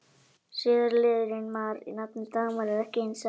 Síðari liðurinn-mar í nafninu Dagmar er ekki hinn sami og í Ingimar.